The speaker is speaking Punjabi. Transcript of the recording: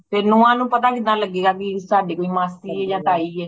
ਤੇ ਨੂੰਹਾਂ ਨੂੰ ਪਤਾ ਕਿੱਦਾਂ ਲਗੇਗਾ ਕਿ ਸਾਡੀ ਵੀ ਮਾਸੀ ਏ ਆ ਤਾਇ ਏ